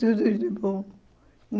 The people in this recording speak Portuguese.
Tudo de bom.